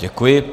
Děkuji.